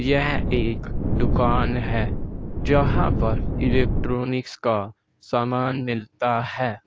यह एक दुकान है जहां पर इलेक्ट्रॉनिक्स का सामान मिलता है।